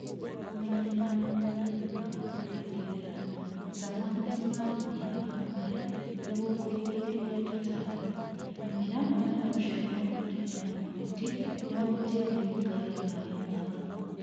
kũmenyerera mũgũnda thutha wa kũrengerera, ruta mahuti mamũhĩa wa mbere nĩguo kũrigĩrĩria tũtambi. Rĩmĩra mũmera ũcio na ũthikĩre na mahuti nĩguo tĩĩri wikarie maaĩ maguo.